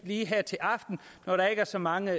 lige her til aften hvor der ikke er så mange